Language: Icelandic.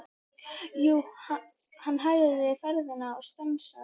Jú, hann hægði ferðina og stansaði.